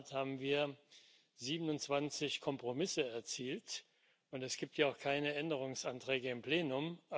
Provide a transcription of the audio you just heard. In der Tat haben wir 27 Kompromisse erzielt, und es gibt ja auch keine Änderungsanträge im Plenum.